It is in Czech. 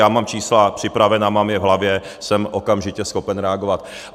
Já mám čísla připravena, mám je v hlavě, jsem okamžitě schopen reagovat.